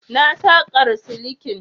Na saƙar silikin.